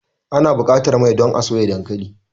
Ana buƙatar mai don a soya dankali.